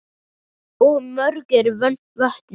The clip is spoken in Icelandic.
Og mörg eru vötnin.